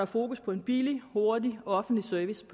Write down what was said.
fokus på en billig hurtig og offentlig service